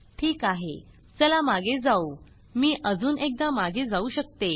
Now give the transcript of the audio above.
ठीक आहे चला मागे जाऊ मी अजुन एकदा मागे जाऊ शकते